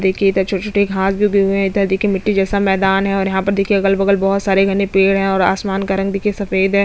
देखिये इधर छोटी-छोटी घास भी उगी हुए है इधर देखिये मिट्टी जैसा मैदान है और यहाँ पे देखिये अगल-बगल में बहोत सारे घने पेड़ है और आसमान का रंग देखिये सफेद है।